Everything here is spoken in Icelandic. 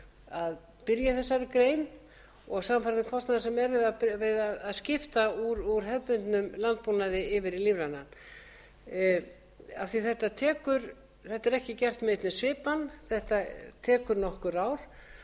byrja í þessari grein og samfara kostnaði sem er við að skipta úr hefðbundnum landbúnað yfir í lífrænan þetta er ekki gert í einni svipan þetta tekur nokkur ár